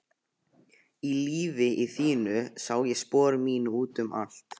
Í lífi þínu sá ég spor mín út um allt.